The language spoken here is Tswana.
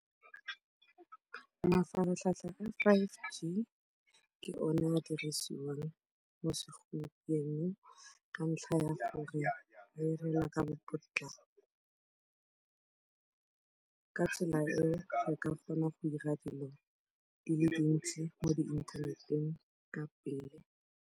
Mafaratlhatlha a five G ke one a dirisiwang mo segompienong ka ntlha ya gore a direla ka potlako, ka tsela eo o ka kgona go dira dilo di le dintsi mo di-internet-eng ka pele.